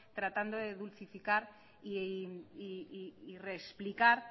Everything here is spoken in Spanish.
tratando de dulcificar y reexplicar